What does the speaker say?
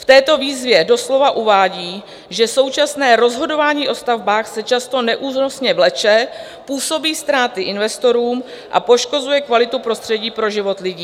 V této výzvě doslova uvádí, že "současné rozhodování o stavbách se často neúnosně vleče, působí ztráty investorům a poškozuje kvalitu prostředí pro život lidí.